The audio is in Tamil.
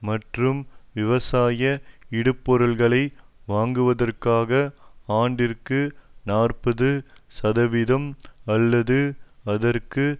மற்றும் விவசாய இடுபொருள்களை வாங்குவதற்காகஆண்டிற்கு நாற்பது சதவீதம் அல்லது அதற்கு